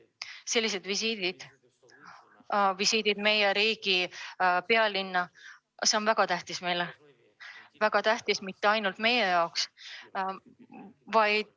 Sellised visiidid meie riigi pealinna on meie jaoks väga tähtsad ja mitte ainult meie jaoks.